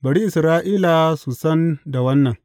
Bari Isra’ila su san da wannan.